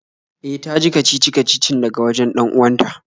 E, ta ji kacici-kacicin daga wajen 'dan uwanta